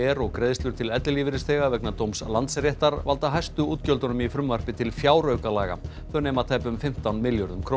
og greiðslur til ellilífeyrisþega vegna dóms Landsréttar valda hæstu útgjöldunum í frumvarpi til fjáraukalaga þau nema tæpum fimmtán milljörðum króna